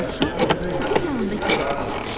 Dovşan Puxun yanında yerə əyləşdi.